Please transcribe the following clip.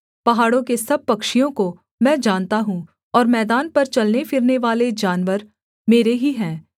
पहाड़ों के सब पक्षियों को मैं जानता हूँ और मैदान पर चलनेफिरनेवाले जानवर मेरे ही हैं